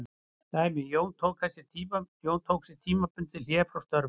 Dæmi: Jón tók sér tímabundið hlé frá störfum.